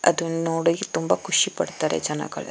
ಅದನ್ನು ನೋಡಿ ತುಂಬಾ ಖುಷಿ ಪಡ್ತಾರೆ ಜನಗಳೆಲ್ಲ.